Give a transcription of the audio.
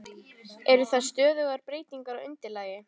Eru það stöðugar breytingar á undirlagi?